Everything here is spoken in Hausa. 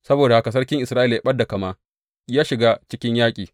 Saboda haka sarkin Isra’ila ya ɓad da kama, ya shiga cikin yaƙi.